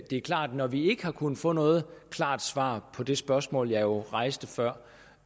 er klart at når vi ikke har kunnet få noget klart svar på det spørgsmål jeg rejste før